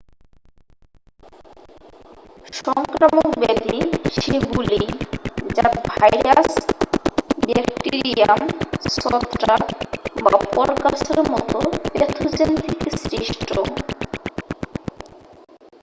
সংক্রামক ব্যাধি সেগুলিই যা ভাইরাস ব্যাকটিরিয়াম ছত্রাক বা পরগাছার মতো প্যাথোজেন থেকে সৃষ্ট